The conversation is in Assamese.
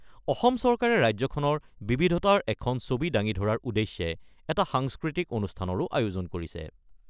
অসম চৰকাৰে ৰাজ্যখনৰ বিবিধতাৰ এখন ছবি দাঙি ধৰাৰ উদ্দেশ্যে এটা সাংস্কৃতিক অনুষ্ঠানৰো আয়োজন কৰিছে।